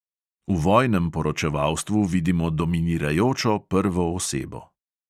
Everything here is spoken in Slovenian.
V vojnem poročevalstvu vidimo dominirajočo prvo osebo.